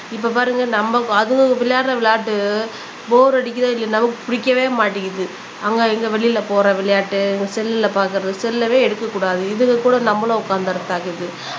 இப்ப பாருங்க நம்ம இப்ப அதுங்க விளையாடுற விளையாட்டு போர் அடிக்குதோ இல்லையோ நமக்கு பிடிக்கவே மாட்டேங்குது அங்க இங்க வெளியில போற விளையாட்டு இந்த செல்ல பார்க்கிறது செல்லவே எடுக்கக் கூடாது இதுக கூட நம்மளும் உட்கார்ந்தரத இருக்குது.